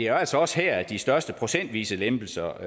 er altså også her at de største procentvise lempelser